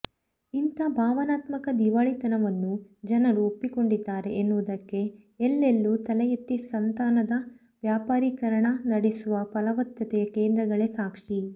ಇಂಥ ಭಾವನಾತ್ಮಕ ದಿವಾಳಿತವನ್ನೂ ಜನರು ಒಪ್ಪಿಕೊಂಡಿದ್ದಾರೆ ಎನ್ನುವುದಕ್ಕೆ ಎಲ್ಲೆಲ್ಲೂ ತಲೆಯೆತ್ತಿ ಸಂತಾನದ ವ್ಯಾಪಾರೀಕರಣ ನಡೆಸುವ ಫಲವತ್ತತೆಯ ಕೇಂದ್ರಗಳೇ ಸಾಕ್ಷಿ